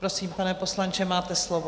Prosím, pane poslanče, máte slovo.